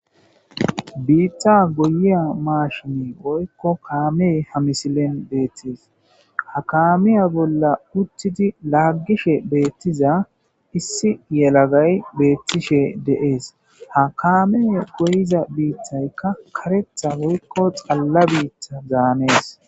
biitta goyiya maashini boykko kaame ha misilen beettis ha kaamiya bolla uttidi laaggishe beettiza issi yelagay beettishe de7ees ha kaame goyiza biittaykka karetha boykko xalla biitta zaanees